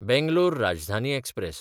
Bangalore Rajdhani express